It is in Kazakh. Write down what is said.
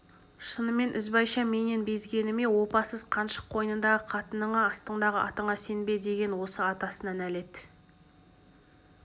шынымен ізбайша менен безгені ме опасыз қаншық қойныңдағы қатыныңа астыңдағы атыңа сенбе деген осы атасына нәлет